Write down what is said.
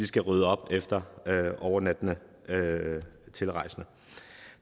skal rydde op efter overnattende tilrejsende